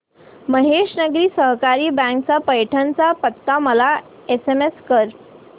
महेश नागरी सहकारी बँक चा पैठण चा पत्ता मला एसएमएस कर